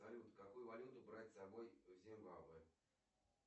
салют какую валюту брать с собой в зимбабве